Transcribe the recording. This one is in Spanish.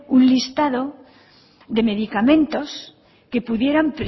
un listado de medicamentos que pudieran